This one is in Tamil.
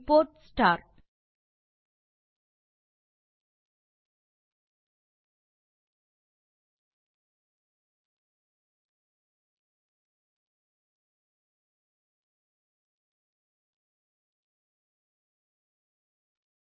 நம் ஸ்கிரிப்ட் இல் சேர்த்து